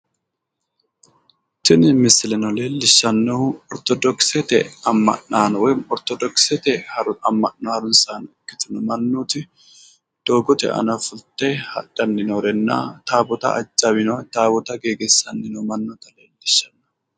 Tini misileno leellishannohu ortodokisete amma'naano woyi ortodokissete amma'no harunsaano ikkitino mannooti taawoota ajawino, taawoota geegiisanni noo manna leellishanno.